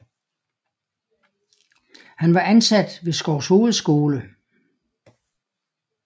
Han var ansat ved Skovshoved skole